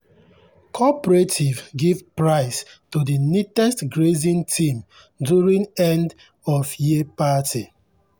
cooperative give prize to the neatest grazing team during end-of-year party.